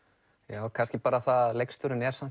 já kannski bara það að leikstjórinn er samt